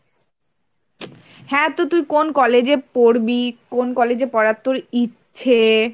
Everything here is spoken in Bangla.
হ্যাঁ তো তুই কোন college এ পড়বি কোন college এ পড়ার তোর ইচ্ছে?